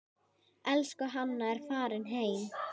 Elsku Hanna er farin heim.